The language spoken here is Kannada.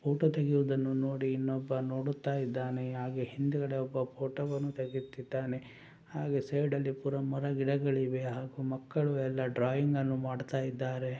ಫೋಟೋ ತೆಗೆಯುವುದನ್ನು ನೋಡಿ ಇನ್ನೊಬ್ಬ ನೋಡುತ್ತಾ ಇದ್ದಾನೆ ಅಹ್ಗೂ ಹಿಂದುಗಡೆ ಒಬ್ಬ ಫೋಟೋವನ್ನು ತೆಗೆಯುತ್ತಿದಾನೆ ಹಾಗು ಸೈಡ್ ಅಲ್ಲಿ ಕೂಡ ಮರಗಿಡಗಳಿವೆ ಹಾಗೂ ಮಕ್ಕಳು ಎಲ್ಲ ಡ್ರಾಯಿಂಗ್ ಅನ್ನು ಮಾಡುತ್ತ ಇದ್ದಾರೆ .